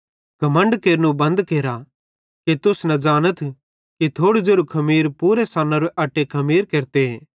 घमण्ड केरनू बंद केरा कि तुस न ज़ानथ कि थोड़ू ज़ेरू खमीर पूरे सन्नोरे अट्टे खमीर केरते